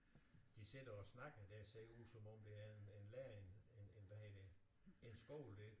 De sidder og snakker det ser ud som om det er en en lærer en en hvad hedder det en skole der